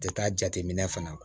Tɛ taa jateminɛ fana